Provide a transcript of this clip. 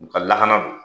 U ka lakana don